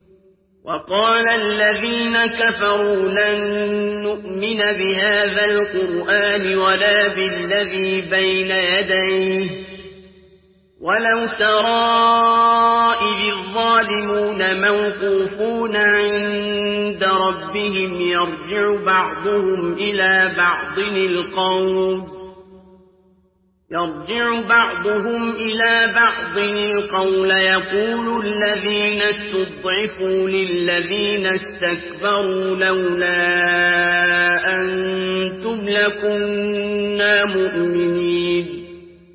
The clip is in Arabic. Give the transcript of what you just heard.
وَقَالَ الَّذِينَ كَفَرُوا لَن نُّؤْمِنَ بِهَٰذَا الْقُرْآنِ وَلَا بِالَّذِي بَيْنَ يَدَيْهِ ۗ وَلَوْ تَرَىٰ إِذِ الظَّالِمُونَ مَوْقُوفُونَ عِندَ رَبِّهِمْ يَرْجِعُ بَعْضُهُمْ إِلَىٰ بَعْضٍ الْقَوْلَ يَقُولُ الَّذِينَ اسْتُضْعِفُوا لِلَّذِينَ اسْتَكْبَرُوا لَوْلَا أَنتُمْ لَكُنَّا مُؤْمِنِينَ